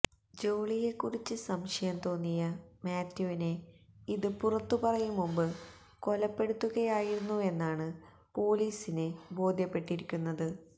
ജോളിയെക്കുറിച്ച് സംശയം തോന്നിയ മാത്യുവിനെ ഇത് പുറത്തുപറയും മുമ്പ് കൊലപ്പെടുത്തുകയായിരുന്നുവെന്നാണ് പൊലീസിന് ബോധ്യപ്പെട്ടിരിക്കുന്നത്